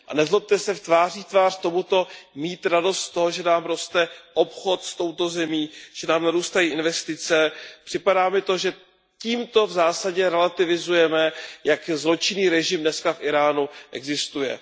Nezlobte se, tváří v tvář tomuto mít radost z toho, že nám roste obchod s touto zemí, že nám narůstají investice, mi připadá, že tímto v zásadě relativizujeme, jak zločinný režim dnes v Íránu existuje.